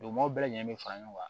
Duguma bɛɛ lajɛlen bɛ fara ɲɔgɔn kan